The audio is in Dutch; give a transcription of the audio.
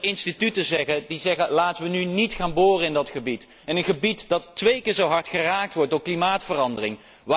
Dat er instituten zijn die zeggen laten wij nu niet gaan boren in dat gebied, in een gebied dat twee keer zo hard geraakt wordt door klimaatverandering!